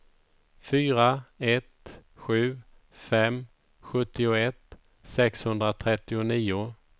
fyra ett sju fem sjuttioett sexhundratrettionio